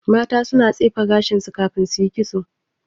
Mata su na tsefe gashin su kan suyi ƙitso